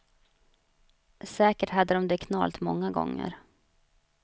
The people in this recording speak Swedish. Säkert hade dom det knalt många gånger.